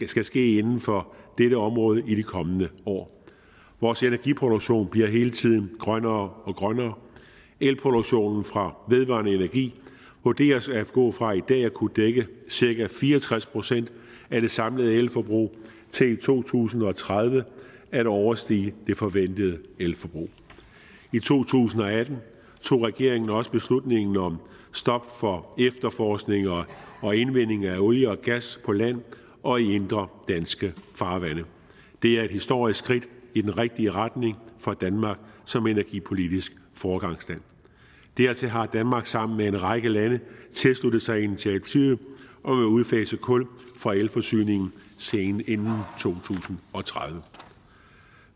skal ske inden for dette område i de kommende år vores energiproduktion bliver hele tiden grønnere og grønnere elproduktionen fra vedvarende energi vurderes at gå fra i dag at kunne dække cirka fire og tres procent af det samlede elforbrug til i to tusind og tredive at overstige det forventede elforbrug i to tusind og atten tog regeringen også beslutningen om stop for efterforskning og indvinding af olie og gas på land og i indre danske farvande det er et historisk skridt i den rigtige retning for danmark som energipolitisk foregangsland dertil har danmark sammen med en række lande tilsluttet sig initiativet om at udfase kul fra elforsyningen inden to tusind og tredive